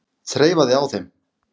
Þreifaði á þeim.